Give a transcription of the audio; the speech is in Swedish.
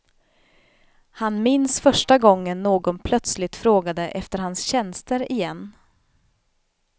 Han minns första gången någon plötsligt frågade efter hans tjänster igen.